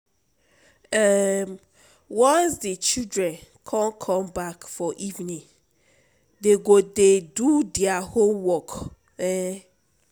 um Once di children come come back for evening, dey go dey do their homework. um